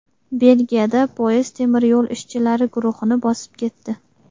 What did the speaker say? Belgiyada poyezd temir yo‘l ishchilari guruhini bosib ketdi.